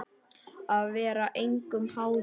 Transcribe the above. Að vera engum háður, já.